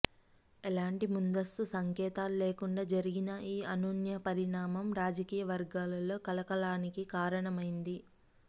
ఎలాంటి ముందస్తు సంకేతాలు లేకుండా జరిగిన ఈ అనూహ్య పరిణాణం రాజకీయ వర్గాలో కలకలానికి కారణమైంది